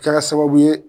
Kɛra sababu ye